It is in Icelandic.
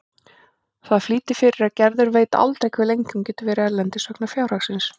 Það flýtir fyrir að Gerður veit aldrei hve lengi hún getur verið erlendis vegna fjárhagsins.